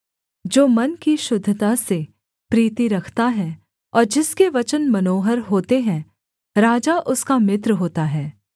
जो मन की शुद्धता से प्रीति रखता है और जिसके वचन मनोहर होते हैं राजा उसका मित्र होता है